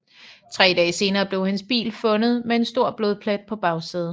Tre dage senere blev hendes bil fundet med en stor blodplet på bagsædet